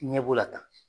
Ɲɛbo la tan